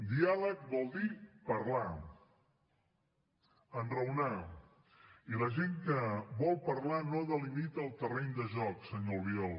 diàleg vol dir parlar enraonar i la gent que vol parlar no delimita el terreny de joc senyor albiol